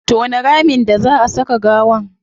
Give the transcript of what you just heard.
Tona ramin da zaa a saka gawa